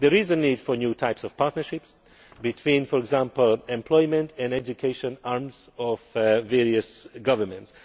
There is a need for new types of partnerships between, for example, employment and education arms of various governments.